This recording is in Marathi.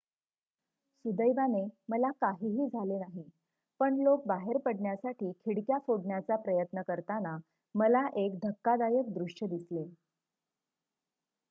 """सुदैवाने मला काहीही झाले नाही पण लोक बाहेर पडण्यासाठी खिडक्या फोडण्याचा प्रयत्न करताना मला एक धक्कादायक दृश्य दिसले.""